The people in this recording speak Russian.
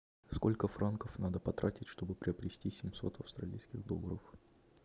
сколько франков надо потратить чтобы приобрести семьсот австралийских долларов